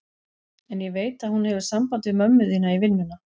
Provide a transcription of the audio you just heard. En ég veit að hún hefur samband við mömmu þína í vinnuna.